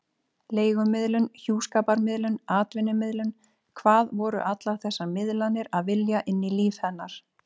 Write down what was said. Leigumiðlun, hjúskaparmiðlun, atvinnumiðlun: hvað voru allar þessar miðlanir að vilja inn í líf hennar?